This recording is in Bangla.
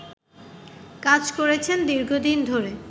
কাজ করছেন দীর্ঘদিন ধরে